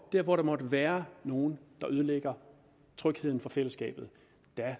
der hvor der måtte være nogle der ødelægger trygheden for fællesskabet